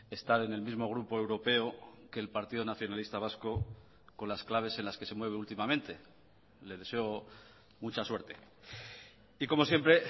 estar en el mismo grupo europeo que el partido nacionalista vasco con las claves en las que se mueve últimamente le deseo mucha suerte y como siempre